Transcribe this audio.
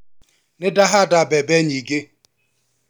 Nĩ ndahanda mbembe nyingĩ.